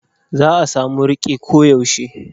Za a samu riƙe koyaushe.